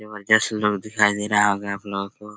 जबरदस्त लुक दिखाई दे रहा होगा आपलोग को।